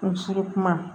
N siri kuma